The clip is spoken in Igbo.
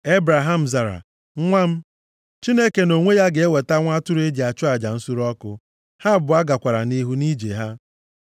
Ebraham zara, “Nwa m, Chineke nʼonwe ya ga-eweta nwa atụrụ e ji achụ aja nsure ọkụ.” Ha abụọ gakwara nʼihu nʼije ha.